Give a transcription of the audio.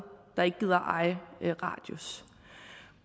der ikke gider eje radius